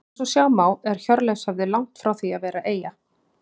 Eins og sjá má er Hjörleifshöfði langt frá því að vera eyja.